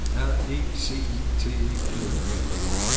R E C I T E R E